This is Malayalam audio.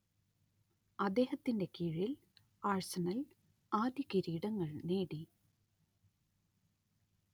അദ്ദേഹത്തിന്റെ കീഴിൽ ആഴ്സണൽ ആദ്യ കിരീടങ്ങൾ നേടി